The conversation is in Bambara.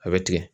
A bɛ tigɛ